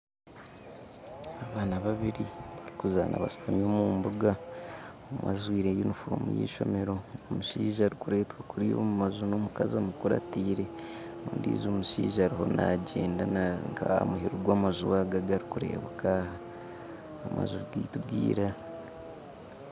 Abaana babiri barikuzaana bashutami omu mbuga omwe ajwaire yunifoomu y'eishomero omushaija arikureetwa kuriya omu mbaju n'omukazi amukurataire ondijo mushaija ariyo naagyenda ari nk'aha muheru gw'amaju ago agarikureebeka aha amaju gaitu g'eira